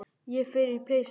Ég fer úr peysunni.